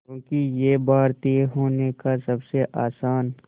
क्योंकि ये भारतीय होने का सबसे आसान